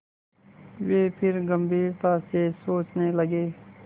वे फिर गम्भीरता से सोचने लगे